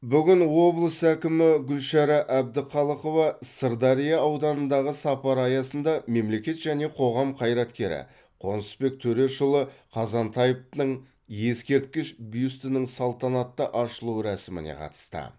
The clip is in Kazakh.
бүгін облыс әкімі гүлшара әбдіқалықова сырдария ауданындағы сапары аясында мемлекет және қоғам қайраткері қонысбек төрешұлы қазантаевтың ескерткіш бюстінің салтанатты ашылу рәсіміне қатысты